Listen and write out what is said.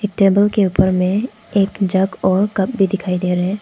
Table के ऊपर में एक जग और कप भी दिखाई दे रहे हैं।